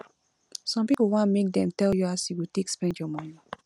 some pipo wan make dem tell you as you go take spend your moni